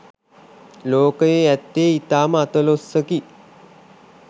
ලෝකයේ ඇත්තේ ඉතාම අතලොස්සකි